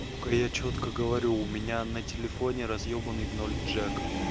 я чётко говорю у меня на телефоне разъёбаный в ноль джек